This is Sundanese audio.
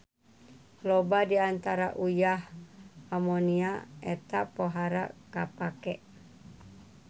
Loba di antara uyah amonia eta pohara kapake.